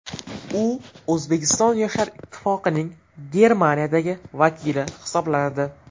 U O‘zbekiston Yoshlar ittifoqining Germaniyadagi vakili hisoblanadi.